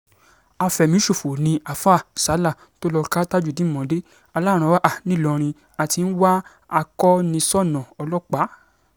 afẹ̀míṣòfò ni àáfáà sala um tó lọ́ọ́ ka tajudeen mọ́lẹ̀ um aláràn-án nìlọrin a ti ń wá a-koniṣánná ọlọ́pàá